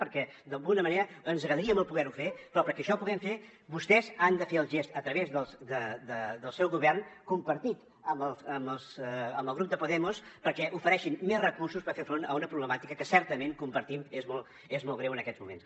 perquè d’alguna manera ens agradaria molt poder ho fer però perquè això ho puguem fer vostès han de fer el gest a través del seu govern compartit amb el grup de podemos perquè ofereixin més recursos per fer front a una problemàtica que certament compartim és molt greu en aquests moments